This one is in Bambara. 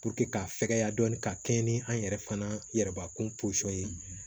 k'a fɛkɛya dɔɔnin ka kɛ ni an yɛrɛ fana yɛrɛ b'a kun ye